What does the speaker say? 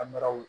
An bɛrɛ